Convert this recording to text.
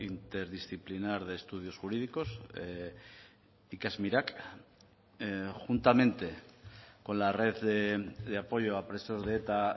interdisciplinar de estudios jurídicos ikasmirak juntamente con la red de apoyo a presos de eta